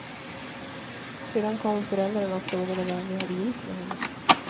Sedan kom föräldrarna och frågade vad vi hade gjort med henne.